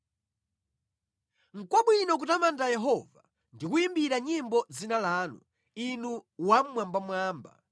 Nʼkwabwino kutamanda Yehova ndi kuyimbira nyimbo dzina lanu, Inu Wammwambamwamba,